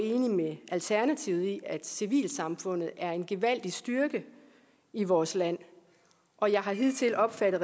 med alternativet i at civilsamfundet er en gevaldig styrke i vores land og jeg har hidtil opfattet